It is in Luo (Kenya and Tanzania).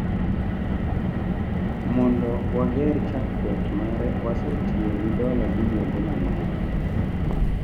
Mondo wager chakruok mare, wasetiyo gi dola bilionde mang’eny.